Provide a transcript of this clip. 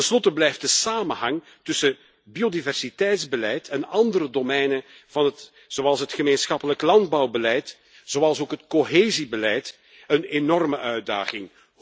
Ten slotte blijft de samenhang tussen biodiversiteitsbeleid en andere domeinen zoals het gemeenschappelijk landbouwbeleid, zoals ook het cohesiebeleid, een enorme uitdaging.